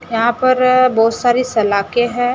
यहां पर बहुत सारी सलाखें हैं।